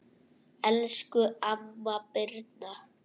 Elsku amma Birna.